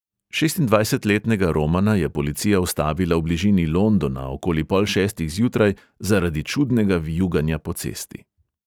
Šestindvajsetletnega romana je policija ustavila v bližini londona okoli pol šestih zjutraj zaradi čudnega vijuganja po cesti.